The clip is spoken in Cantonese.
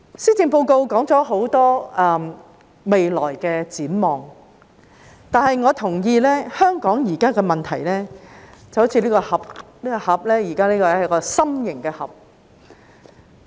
施政報告提到很多未來展望，但我同意，香港現在的問題就好像這個心形的盒子一樣。